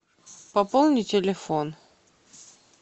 пополни телефон